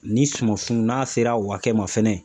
Ni suman sun, n'a sera wakɛ ma fɛnɛ